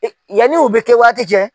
Yanni u bɛ kɛ waati cɛ